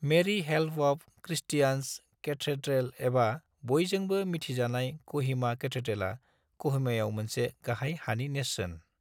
Mary help of Christians cathedral एबा बयजोंबो मिन्थिजानाय क'हिमा कैथेड्रेला, क'हिमायाव मोनसे गाहाय हानि नेरसोन।